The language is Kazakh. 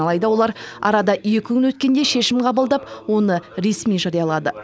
алайда олар арада екі күн өткенде шешім қабылдап оны ресми жариялады